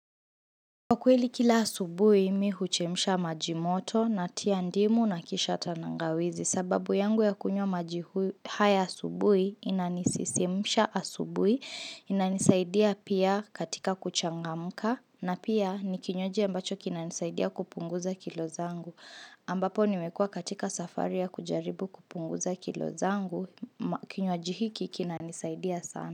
Kwa kweli kila asubuhi mimi huchemsha maji moto natia ndimu na kisha tangawizi. Sababu yangu ya kunywa maji haya asubuhi inanisisimisha asubuhi, inanisaidia pia katika kuchangamka na pia ni kinywaji ambacho kinanisaidia kupunguza kilo zangu ambapo niwekua katika safari ya kujaribu kupunguza kilo zangu kinywaji hiki kinanisaidia sana.